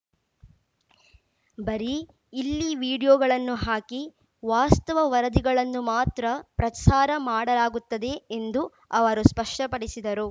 ಬರೀ ಇಲ್ಲಿ ವಿಡಿಯೋಗಳನ್ನು ಹಾಕಿ ವಾಸ್ತವ ವರದಿಗಳನ್ನು ಮಾತ್ರ ಪ್ರಸಾರ ಮಾಡಲಾಗುತ್ತದೆ ಎಂದು ಅವರು ಸ್ಪಷ್ಟಪಡಿಸಿದರು